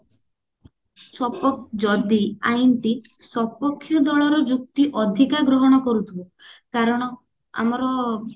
suppose ଯଦି ଆଇନ ଟି ସପକ୍ଷ୍ୟ ଦଳର ଯୁକ୍ତି ଅଧିକ ଗ୍ରହଣ କରୁଥିବ କାରଣ ଆମର